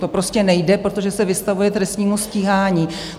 To prostě nejde, protože se vystavuje trestnímu stíhání.